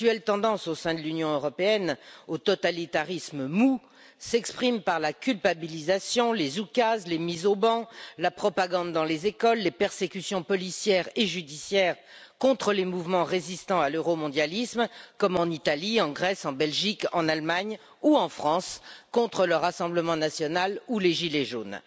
L'actuelle tendance, au sein de l'Union européenne, au totalitarisme mou s'exprime par la culpabilisation, les oukases, les mises au ban, la propagande dans les écoles, les persécutions policières et judiciaires contre les mouvements résistant à l'euromondialisme, comme en Italie, en Grèce, en Belgique, en Allemagne, ou encore en France contre le Rassemblement national ou les gilets jaunes.